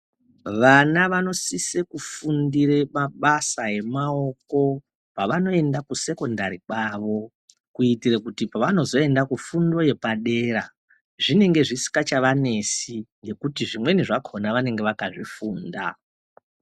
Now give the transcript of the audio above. Vana vanosise kufundire mabasa emaoko pavanoenda ku secondary kwavo kuitira kuti pavanozoenda kufundo yepadera zvinenge zvisinga chavanetsi ngekuti zvimweni zvakona vanenge vakazvifunda.